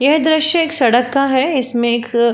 यह दृश्य एक सड़क का है इसमें एक--